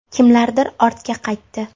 Kimlardir ortga qaytdi.